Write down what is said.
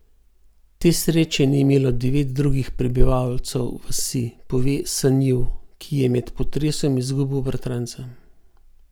Te sreče ni imelo devet drugih prebivalcev vasi, pove Sanjiv, ki je med potresom izgubil bratranca.